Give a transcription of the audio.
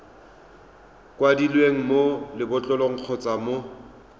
kwadilweng mo lebotlolong kgotsa mo